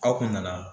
Aw kun nana